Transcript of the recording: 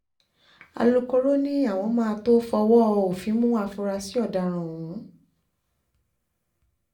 alūkkóró um ni àwọn máa tóó fọwọ́ òfin mú àfúráṣí ọ̀daràn ọ̀hún um